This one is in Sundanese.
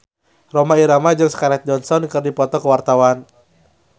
Rhoma Irama jeung Scarlett Johansson keur dipoto ku wartawan